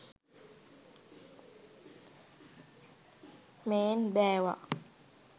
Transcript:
මේන් බෑවා